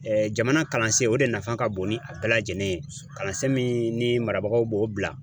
jamana kalansen o de nafa ka bon ni a bɛɛ lajɛlen ye kalansen ni marabagaw b'o bila